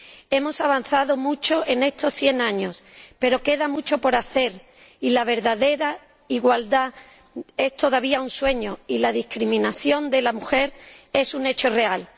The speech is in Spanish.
Hemos avanzado mucho en estos 100 años, pero queda mucho por hacer y la verdadera igualdad es todavía un sueño y la discriminación de la mujer es un hecho real.